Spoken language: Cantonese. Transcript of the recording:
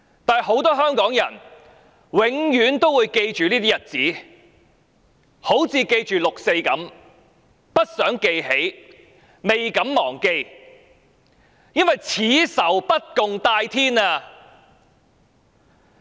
但很多香港人永遠也會記着這些日子，就好像記着六四一樣，不想記起，未敢忘記，因為此仇不共戴天。